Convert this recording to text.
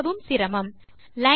ஆனால் இது உண்மையில் லைன் 9